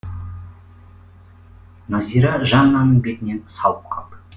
назира жаннаның бетінен салып қалды